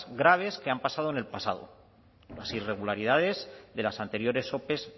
graves que han pasado en el pasado las irregularidades de las anteriores ope